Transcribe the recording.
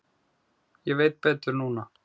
Ég veit betur núna.